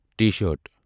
T shirt